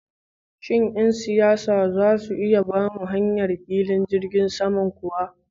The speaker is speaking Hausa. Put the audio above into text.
Shin yan siyasa zasu iya bamu hayar filin jirgin sama kuwa?